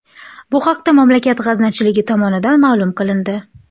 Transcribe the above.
Bu haqda mamlakat g‘aznachiligi tomonidan ma’lum qilindi .